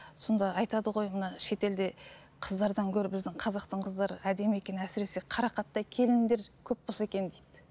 сонда айтады ғой мына шетелде қыздардан гөрі біздің қазақтың қыздары әдемі екен әсіресе қарақаттай келіндер көп болса екен дейді